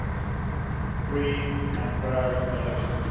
secondly, free and fair elections